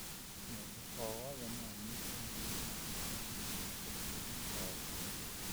Mũndũ o wothe no anyitwo nĩ mũrimũ wa pneumonia ũkũrũinĩ o wothe.